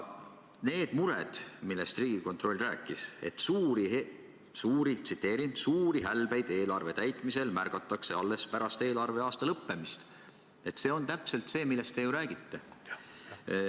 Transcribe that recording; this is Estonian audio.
Need mured, millest Riigikontroll rääkis, et suuri hälbeid eelarve täitmisel märgatakse alles pärast eelarveaasta lõppemist, on täpselt see, millest te ju räägite.